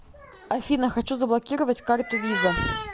афина хочу заблокировать карту виза